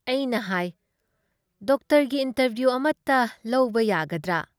ꯑꯩꯅ ꯍꯥꯏ - "ꯗꯣꯛꯇꯔꯒꯤ ꯏꯟꯇꯔꯚꯤꯌꯨ ꯑꯃꯇ ꯂꯧꯕ ꯌꯥꯒꯗ꯭ꯔꯥ?"